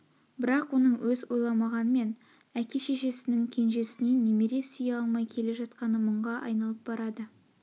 бірақ оның өз ойламағанмен әке-шешенң кенжеснен немере сүйе алмай келе жатқаны мұңға айналып барады